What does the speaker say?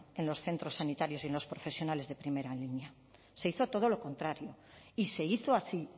en los centros sanitarios y en los profesionales de primera línea se hizo todo lo contrario y se hizo así